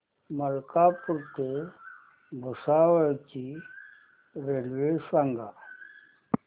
मलकापूर ते भुसावळ ची रेल्वे सांगा